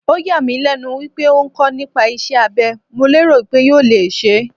Ó yà mí lẹ́nu wípé ó ń kọ́ nípa iṣẹ́ abé, mo lérò wípé yóò le ṣẹ́.